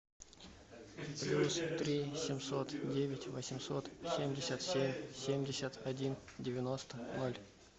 плюс три семьсот девять восемьсот семьдесят семь семьдесят один девяносто ноль